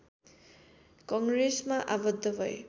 कङ्ग्रेसमा आबद्ध भए